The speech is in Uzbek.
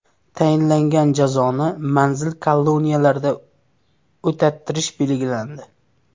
Tayinlangan jazoni manzil koloniyalarda o‘tattirish belgilandi.